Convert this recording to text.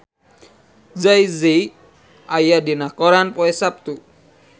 Jay Z aya dina koran poe Saptu